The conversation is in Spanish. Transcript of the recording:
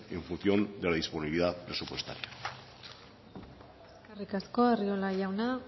en función de la disponibilidad presupuestaria eskerrik asko arriola jauna